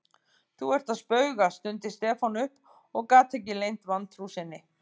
Þú ert að spauga stundi Stefán upp og gat ekki leynt vantrú sinni.